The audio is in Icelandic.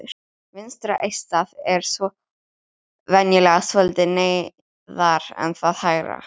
Vinstra eistað er venjulega svolítið neðar en það hægra.